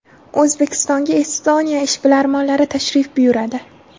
O‘zbekistonga Estoniya ishbilarmonlari tashrif buyuradi.